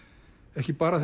ekki bara